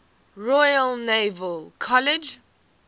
royal naval college